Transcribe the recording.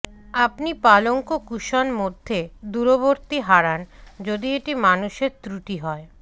আপনি পালঙ্ক কুশন মধ্যে দূরবর্তী হারান যদি এটি মানুষের ত্রুটি হয়